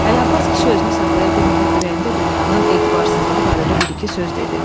Ələbbas kişi özünü saxlaya bilməyib ürəyində dünyanın etibarsızlığı barədə bir-iki söz dedi.